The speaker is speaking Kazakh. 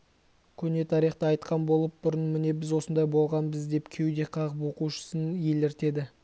көне тарихты айтқан болып бұрын міне біз осындай болғанбыз деп кеуде қағып оқушысын еліртеді